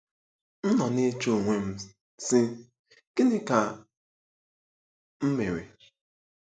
M nọ na-eche onwe m, sị, ‘Gịnị ka m mere? '